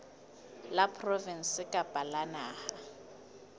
la provinse kapa la naha